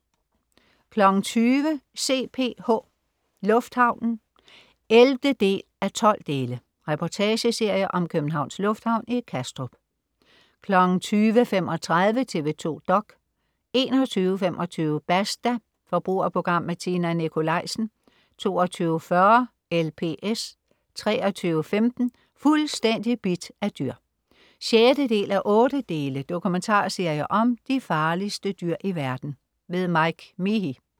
20.00 CPH. Lufthavnen 11:12. Reportageserie om Københavns Lufthavn i Kastrup 20.35 TV 2 dok 21.25 Basta. Forbrugerprogram med Tina Nikolaisen 22.40 LPS 23.15 Fuldstændig bidt af dyr 6:8. Dokumentarserie om de farligste dyr i verden. Mike Meahy